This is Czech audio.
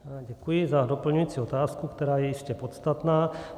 Děkuji za doplňující otázku, která je jistě podstatná.